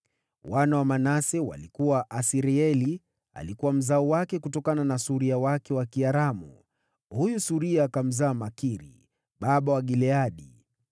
Wana wa Manase walikuwa: Asirieli alikuwa mzao wake kutokana na suria wake wa Kiaramu. Huyu suria akamzaa Makiri baba wa Gileadi.